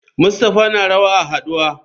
Mustapha na rawa a haduwa.